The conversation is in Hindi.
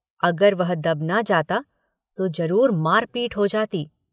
अगर वह दब न जाता तो जरूर मारपीट हो जाती।